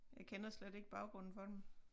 Jeg kender slet ikke baggrunden for den